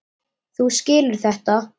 Þú skilur þetta?